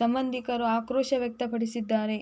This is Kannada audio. ಸಂಬಂಧಿಕರು ಆಕ್ರೋಶ ವ್ಯಕ್ತಪಡಿಸಿದ್ದಾರೆ